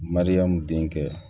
Mariyamu denkɛ